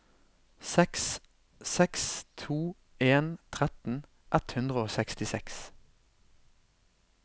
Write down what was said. seks seks to en tretten ett hundre og sekstiseks